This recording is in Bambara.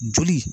Joli